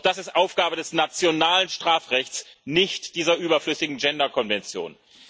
Doch das ist Aufgabe des nationalen Strafrechts, nicht dieser überflüssigen Gender Konvention.